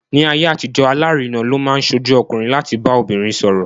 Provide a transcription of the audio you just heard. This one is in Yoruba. Ní ayé àtijọ́, alárinà ló máa ń ṣojú ọkùnrin láti bá obìnrin sọ̀rọ̀.